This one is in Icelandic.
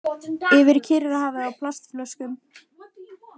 Yfir Kyrrahafið á plastflöskum